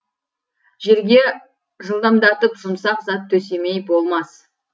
жерге жылдамдатып жұмсақ зат төсемей болмас